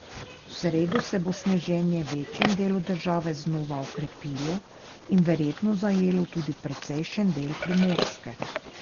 V sredo se bo sneženje v večjem delu države znova okrepilo in verjetno zajelo tudi precejšen del Primorske.